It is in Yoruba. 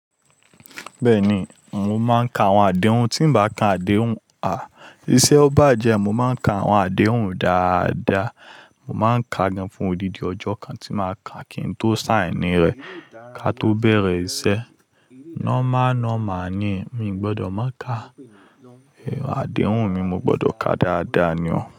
Bẹ́ẹ̀ni, mo máa ń ka àwọn àdéhùn. Tí m bá ka àdéhùn, à, iṣẹ́ ọ bá jẹ́, mo máa ń ka àwọn àdéhùn dáadáa. Mo máa ń ka gan fún odidi ọjọ́ kan tí màá ka kí n tó sáìnì rẹ̀. Ka tó bẹ̀rẹ̀ iṣẹ́. Normal normal ni. Mi ò gbọdọ̀ má ka, ẹ, àdéhùn mi mo gbọdọ̀ ka dáadáa ni o.